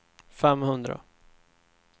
femhundra